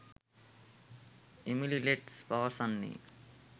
Emily Letts පවසන්නේ